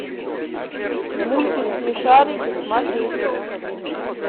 мультик смешарики смотреть